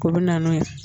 O bɛ na n'o ye